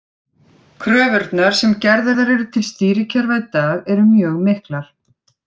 Kröfurnar sem gerðar eru til stýrikerfa í dag eru mjög miklar.